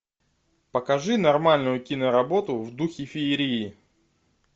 покажи нормальную киноработу в духе феерии